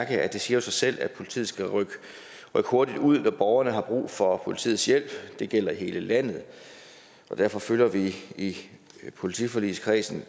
at det siger sig selv at politiet skal rykke hurtigt ud når borgerne har brug for politiets hjælp det gælder i hele landet og derfor følger vi i politiforligskredsen